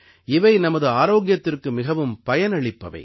இவை நமது ஆரோக்கியத்திற்கு மிகவும் பயனளிப்பவை